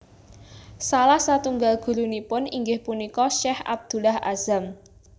Salah satunggal gurunipun inggih punika Sheikh Abdullah Azzam